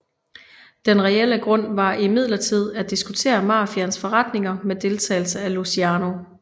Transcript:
Den reelle grund var imidlertid at diskutere mafiaens forretninger med deltagelse af Luciano